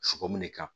Sogomin de kan